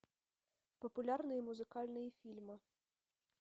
популярные музыкальные фильмы